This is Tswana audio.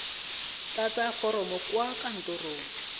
tlatsa foromo kwa kantorong ya